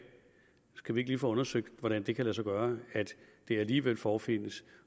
skal vi ikke lige få undersøgt hvordan det kan lade sig gøre at det alligevel forefindes